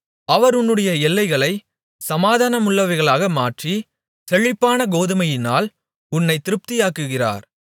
அவர் உன்னுடைய எல்லைகளைச் சமாதானமுள்ளவைகளாக மாற்றி செழிப்பான கோதுமையினால் உன்னைத் திருப்தியாக்குகிறார்